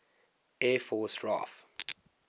air force raaf